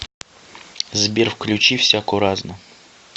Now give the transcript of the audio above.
сбер включи всяко разно